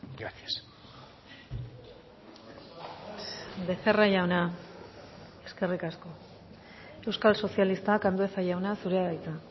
gracias becerra jauna eskerrik asko euskal sozialistak andueza jauna zurea da hitza